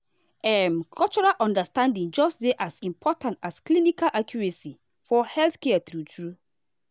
um cultural understanding dey just as important as clinical accuracy for healthcare true true.